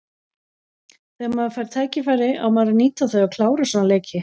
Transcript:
Þegar maður fær tækifæri á maður að nýta þau og klára svona leiki.